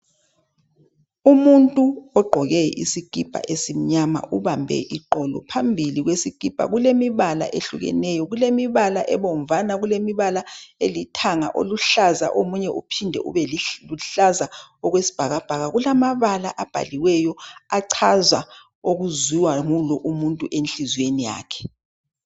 Umuntu ogqoke isikipa esimnyama ubambe iqolo phambili kwesikipa kulemibala ehlukeneyo. Kulemibala ebomvana kulemibala elithanga, oluhlaza omunye uphinde ube luhlaza okwesibhakabhaka. Kulamabala abhaliweyo achaza okuziwa ngulowu enhlizweni yakhe.